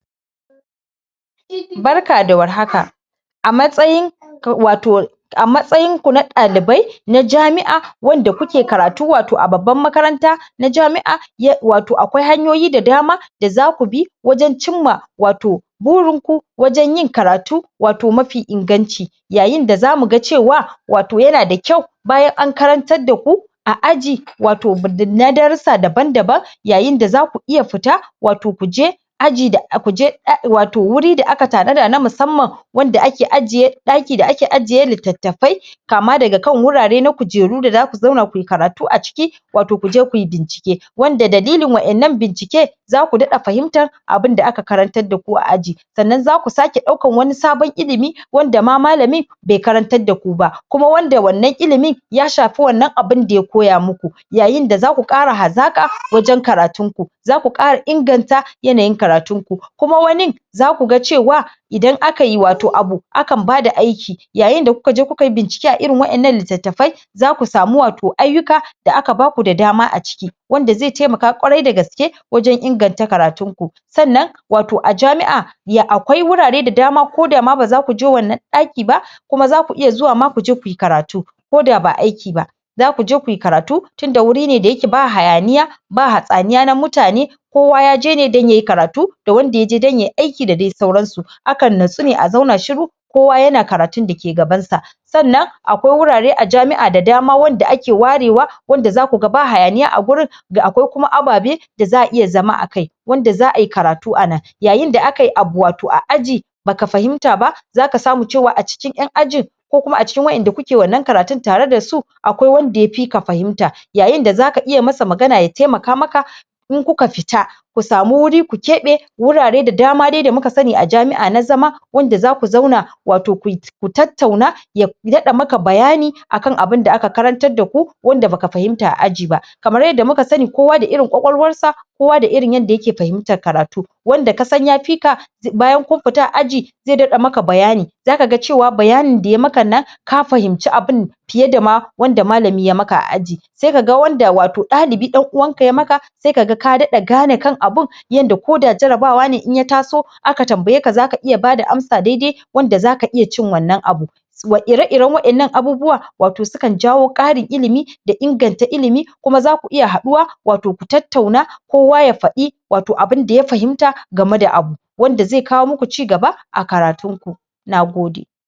Barka da warhaka A matsayin toh wato ku na dalibai na jami'a wanda kuke karatu wato a babbar makaranta na jami'a wato akwai hanyoyi da dama da za ku bi bi wajan cimma wato burin ku wajan yin karatu wato mafi inganci. Yayin da za mu ga cewa wato yana da kyau bayan an karantar da ku a aji wato na darusa daban daban, yayin da za ku iya fita wato kuje aji da a kuje wato kuje wuri da aka tanada na musamman, daki da ake da ake ajiye littatafai kama daga kan wurare na kujeru da zaku zauna kuyi karatu a ciki wato kuje kuyi bincike. Wanda dalilin wannan bincike zaku dada fahimtar abun da aka karantar da ku a aji. Sannan zaku sake daukar wani sabon ilimi wanda ma malamin bai karantar da ku ba, kuma wanda wannan ilimin ya shafi wannan abun da ya koya muku Yayin da zaku kara hazaka wajan karatun ku. Zaku kara inganta yanayin karatun ku. Kuma wanin zaku ga cewa idan akayi wato abu akan ba da aiki, yayin da kuka je kukayi bincike irin wadannan littatafai zaku samu wato ayyuka da aka Baku da dama a ciki, wanda zai taimaka kwarai da gaske wajan inganta karatun ku Sannan wato a jami'a akwai wurare da dama ko da ma baza ku je wannan daki ba kuma zaku iya zuwa ma kuje kuyi karatu ko da ba aiki ba Za ku je kuyi karatu tun da wuri ne da ba hayaniya, ba hatsaniya na mutane kowa ya je ne don yayi karatu da wanda ya je don yayi aiki da dai sauran su, akan natsu ne a zauna shiru kowa Yana karatun da ke gaban sa Sannan akwai wurare a jami'a da dama wanda ake warewa, wanda zaku ga ba hayaniya a wurin da kuma ababe da za a iya zama a kai wanda za a yi karatu a nan. Yayin da akayi abu wato a aji baka fahimta ba, zaka samu cewa a cikin yan ajin ko kuma a cikin wadanda kuke wannan karatun da su akwai wanda ya fi ka fahimta. Yayin da zaka iya masa magana ya taimaka maka in kuka fita, ku samu wuri ku kebe, wurare da dama dai da muka sani a jami'a na Zama wanda zaku zauna wato ku tattauna, ya dada maka bayani akan abun da aka karantar da ku wanda baka fahimta a aji ba Kamar yanda muka sani, kowa da kwakwalwar sa, kowa da irin yanda yake fahimtar karatu Wanda kasan ya fika bayan kun fita aji zai dada maka bayani zaka ga cewa bayani da ya makan nan, ka fahimci abun fiye da ma wanda malamin ya maka a aji Sai ka ga wanda wato dalibi dan uwan ka ya maka Sai ka ga ka dada gane kan abun yan da ko da jarabawa ne in ya taso aka tambaye ka zaka iya bada amsa dai dai wanda za ka iya cin wannan abu. Ire iren abubuwa wato su kan jawo Karin ilimi da inganta ilimi kuma za ku iya haduwa wato ku tattauna kowa ya fadi wato abun da ya fahimta game da abu wanda zai jawo muku ci gaba a karatun ku nagode.